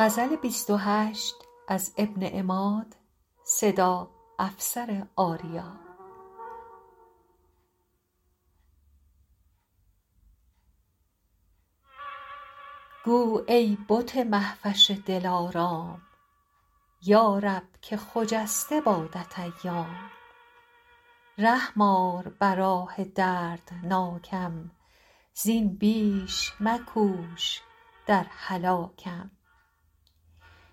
گو ای بت مهوش دل آرام یارب که خجسته بادت ایام رحم آر بر آه دردناکم زین بیش مکوش در هلاکم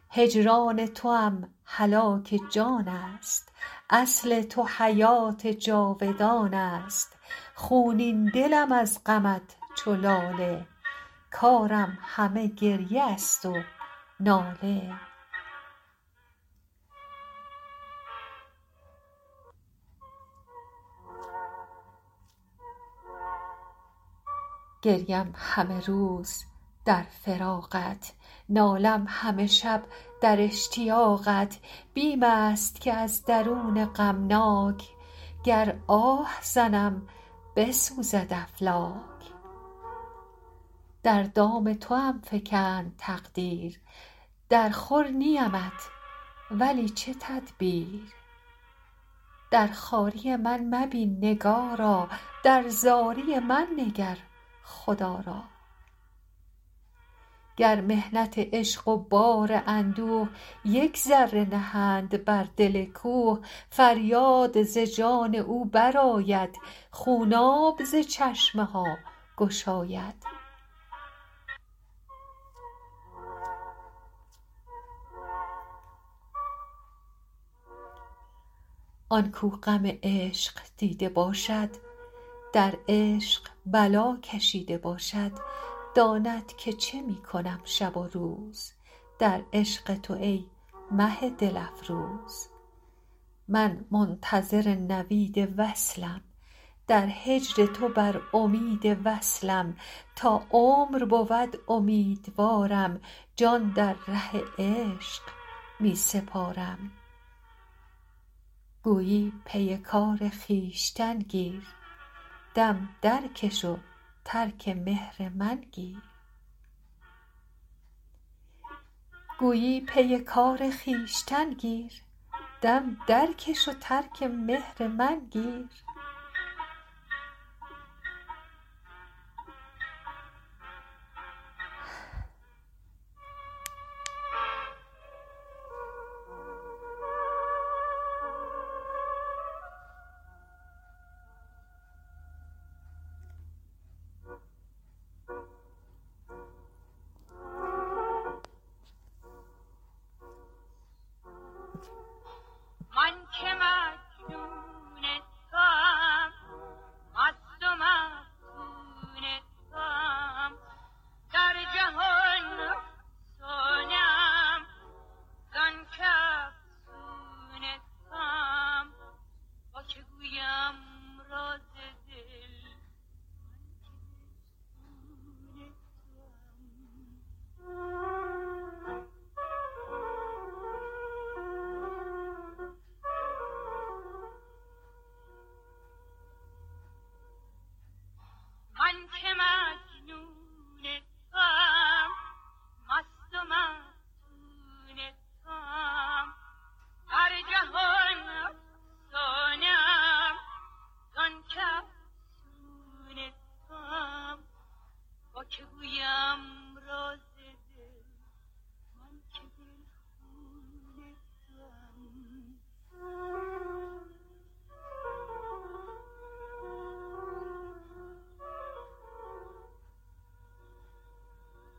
هجران توام هلاک جان است اصل تو حیوة جاودان است خونین دلم از غمت چو لاله کارم همه گریه است و ناله گریم همه روز در فراقت نالم همه شب در اشتیاقت بیم است که از درون غمناک گر آه زنم بسوزد افلاک در دام توام فکند تقدیر درخور نیم ات ولی چه تدبیر در خواری من مبین نگارا در زاری من نگر خدا را گر محنت عشق و بار اندوه یک ذره نهند بر دل کوه فریاد ز جان او برآید خوناب ز چشمها گشاید آن کو غم عشق دیده باشد در عشق بلا کشیده باشد داند که چه می کنم شب و روز در عشق تو ای مه دل افروز من منتظر نوید وصلم در هجر تو بر امید وصلم تا عمر بود امیدوارم جان در ره عشق می سپارم گویی پی کار خویشتن گیر دم درکش و ترک مهر من گیر